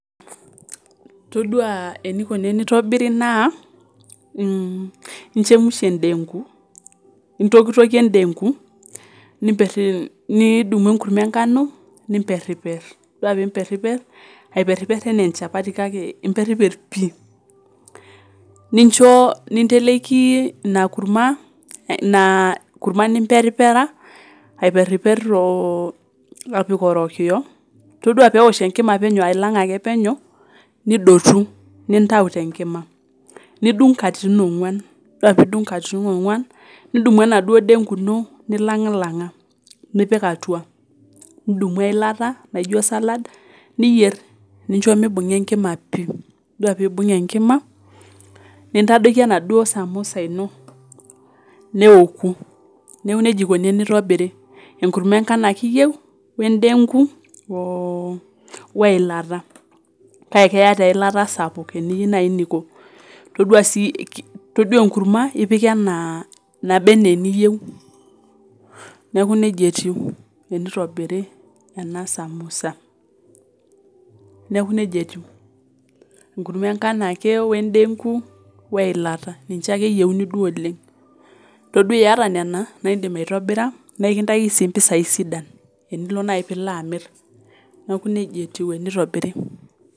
Todua eneikoni teneitobiri naa, inchemusha endengu, intokitokie endengu nidumu enkurumwa engano nimperiper, itodua piimpeermper, aiperiper anaa enchapati kake imperiper pii ninchoo, ninteleki ina kurumwa, ni peripera aiperiper, itodua peosh enkima ailng'lang' ake peneu, nidotu nintau te enkima, nidung' nkatitin ongwan, nidumu enaduo indengu ino nilang'lnang'a nipik atua nidumu eilata naijo salad nincho meibung'a enkima pii, or peibung' enkima nintadoki enaduo samosa ino neoku, neaku neaku eikoni teneitobiri, enkurumwa engano ake iyeu o endengu,o ilata kake keya taa eilata sapuk, eniyeu nainiko, itodua sii itodua enkurumwa ipik enaa naba ana niyeu, neaku neja etiu teneitobiri ena samosa neaku neja etiu, enkurumwa engano ake o endeng'u oo ilata ninche ake eyeuni duo, itodua ieta nena naa indim aitobira nikintaki sii mpisai sidan enilo nai piilo amir, naaku neja etiu eneitobiri.